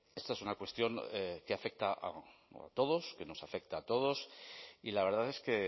esta es una cuestión que afecta a todos que nos afecta a todos y la verdad es que